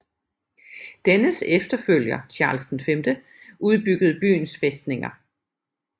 Dennes efterfølger Charles V udbyggede byens fæstninger